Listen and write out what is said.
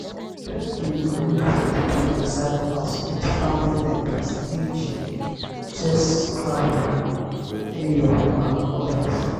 e get games wey we fit play inside house with family members eg chess scrabble eyo and odas